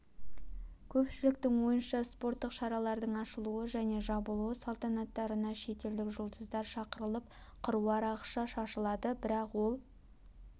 көпшіліктің ойынша спорттық шаралардың ашылу және жабылу салтанаттарына шетелдік жұлдыздар шақырылып қыруар ақша шашылады бірақ ол